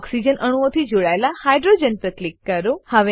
oxygen અણુઓથી જોડાયેલ hydrogen પર ક્લિક કરો